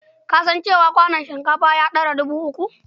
Ka san cewa kwanon shinkafa ya ɗara dubu uku?